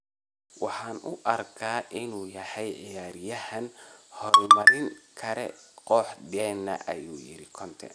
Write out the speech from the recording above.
“Waxaan u arkaa inuu yahay ciyaaryahan horumarin kara kooxdeena” ayuu yiri Conte.